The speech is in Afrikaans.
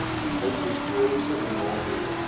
uit histories benadeelde